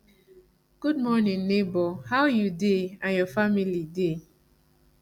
good morning neighbor how you dey and your family dey